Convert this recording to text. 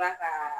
ka